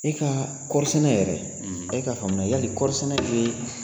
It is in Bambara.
E ka kɔri sɛnɛ yɛrɛ e ka faamu la, yali kɔri sɛnɛ ye